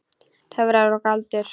Töfrar og galdur.